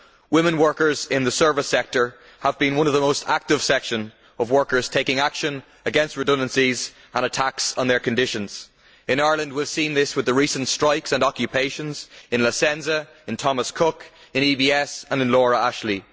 Women workers in the service sector have been one of the most active sections of workers taking action against redundancies and attacks on their conditions. In Ireland we have seen this with the recent strikes and occupations in La Senza, Thomas Cook, EBS and Laura Ashley.